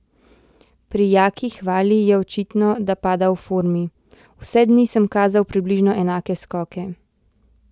Pri Jaki Hvali je očitno, da pada v formi: "Vse dni sem kazal približno enake skoke.